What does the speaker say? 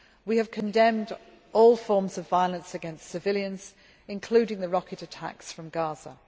We have condemned all forms of violence against civilians, including the rocket attacks from